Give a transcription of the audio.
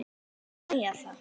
Ég má ekki segja það